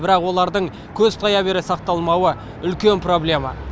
бірақ олардың көз тая бере сақталмауы үлкен проблема